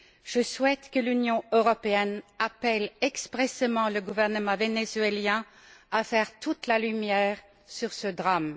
Je souhaite que l'Union européenne appelle expressément le gouvernement vénézuélien à faire toute la lumière sur ce drame.